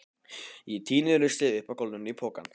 Ég týni ruslið upp af gólfinu í pokann.